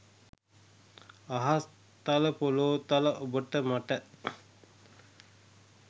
අහස් තල පොලෝ තල ඔබට මට